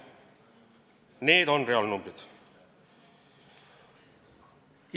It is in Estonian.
Need on reaalnumbrid!